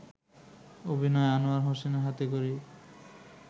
অভিনয়ে আনোয়ার হোসেনের হাতেখড়ি